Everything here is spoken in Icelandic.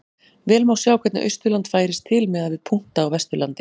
Vel má sjá hvernig Austurland færist til miðað við punkta á Vesturlandi.